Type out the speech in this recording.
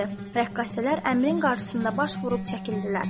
Rəqqasələr əmrin qarşısında baş vurub çəkildilər.